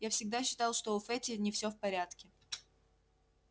я всегда считал что у фэтти не все в порядке